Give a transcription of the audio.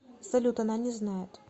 салют она не знает